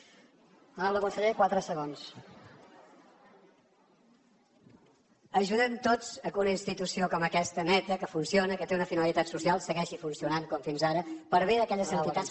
ajudem tots al fet que una institució com aquesta neta que funciona que té una finalitat social segueixi funcionant com fins ara per bé d’aquelles entitats